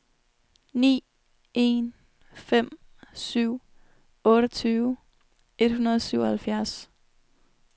ni en fem syv otteogtyve et hundrede og syvoghalvfjerds